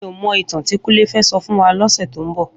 Mi ó mò itàn ti Kunle fè sò fún wà lòsè tó n bò